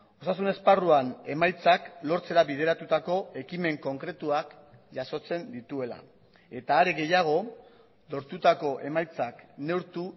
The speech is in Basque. osasun esparruan emaitzak lortzera bideratutako ekimen konkretuak jasotzen dituela eta are gehiago lortutako emaitzak neurtu